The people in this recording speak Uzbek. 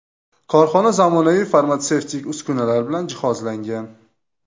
Korxona zamonaviy farmatsevtik uskunalar bilan jihozlangan.